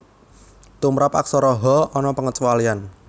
Tumrap Aksara Ha ana pangecualian